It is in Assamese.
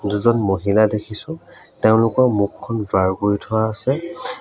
দুজন মহিলা দেখিছোঁ তেওঁলোকৰ মুখখন ব্লাৰ কৰি থোৱা আছে।